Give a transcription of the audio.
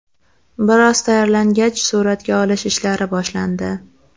Bir oz tayyorlangach, suratga olish ishlari boshlandi.